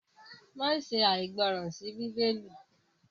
ma ṣe aìgbọràn sí Bíbélì!